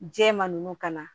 Jɛman ninnu ka na